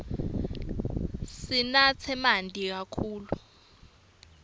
sinatse manti kakhulu